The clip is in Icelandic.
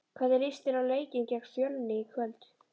Hvernig líst þér á leikinn gegn Fjölni í kvöld?